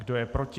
Kdo je proti?